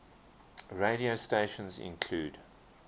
radio stations include